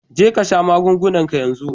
Jeka sha magungunanka yanzu!